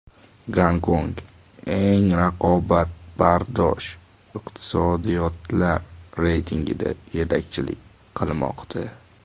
Gonkong eng raqobatbardosh iqtisodiyotlar reytingida yetakchilik qilmoqda.